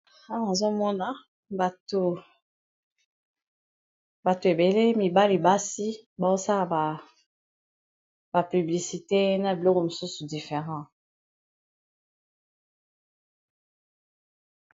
Aazomona bato ebele mibali basi bazosala bapiblicite na blure mosusu different.